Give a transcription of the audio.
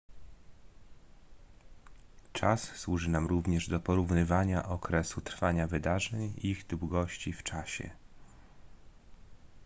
czas służy nam również do porównywania okresu trwania wydarzeń ich długości w czasie